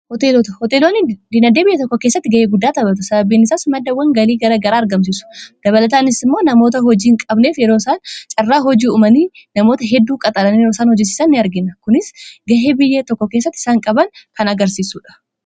Hoteelonni diinagdee biyya tokkoo keessatti ga'ee guddaa tabatu. Sababni isaas maddawwan galii gara garaa argamsiisu. Dabalataanis immoo namoota hojii hin qabneef yeroo isaan carraa hojii uumanii namoota hedduu qacaran yeroo isaan hojjisiisan ni argina. Kunis ga'ee biyye tokko kessatti isaan qaban kan agarsiisuudha.